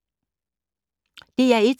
DR1